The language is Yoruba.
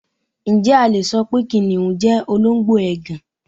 Ǹjẹ́ a le so pé kìnnìún jẹ́ olóńgbò ègàn?